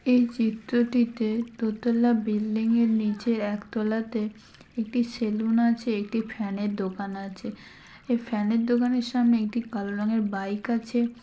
এই চিত্রটিতে দোতালা বিল্ডিং -য়ের নীচে একতলাতে একটি সেলুন আছে। একটি ফ্যান -এর দোকান আছে । এই ফ্যান -এর দোকানের সামনে একটি কালো রঙের বাইক আছে।